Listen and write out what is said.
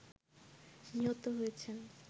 নিহত হয়েছেন